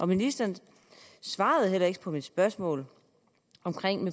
ministeren svarede heller ikke på mit spørgsmål om